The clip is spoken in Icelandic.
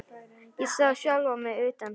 Ég sá sjálfa mig utan frá.